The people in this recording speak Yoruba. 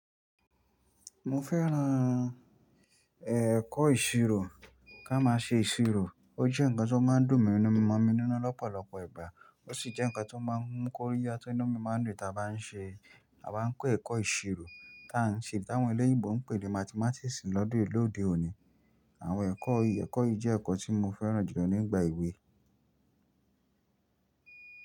Mo fẹ́ràn, eh, ẹ̀kọ́ ìṣirò, ká má a ṣe ìṣirò. Ó jẹ́ nǹkan tó máa ń dùn mọ̀mí nínú lọ́pọ̀lọpọ̀ ìgbà. Ó sì jẹ́ nǹkan tó máa ń mú kóríyá tí inú mi máa ń dùn tí a bá n ṣe, a bá n kọ́ ẹ̀kọ́ ìṣirò, tí àwọn ẹlẹ́yìíbo ń pè ní Mathematics lọ́dọ̀ ìlú òde òní. Àwọn ẹ̀kọ́ yìí, ẹ̀kọ́ yìí jẹ́ ẹ̀kọ́ tí mo fẹ́ràn jùlọ nígbà ìwé.